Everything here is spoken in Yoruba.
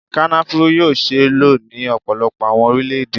Kònafuru yoo ṣee lo ni ọpọlọpọ awọn orilẹ-ede